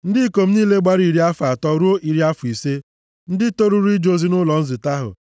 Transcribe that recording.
Ndị ikom niile gbara iri afọ atọ ruo iri afọ ise, ndị toruru ije ozi nʼụlọ nzute ahụ